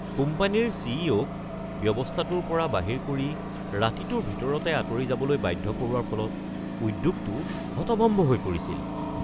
কোম্পানীৰ C. E. অ’.-ক ব্যৱস্থাটোৰ পৰা বাহিৰ কৰি ৰাতিটোৰ ভিতৰতে আঁতৰি যাবলৈ বাধ্য কৰোৱাৰ ফলত উদ্যোগটো হতভম্ব হৈ পৰিছিল।